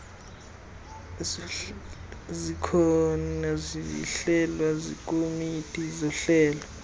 zihlelwa zikomiti zohlelo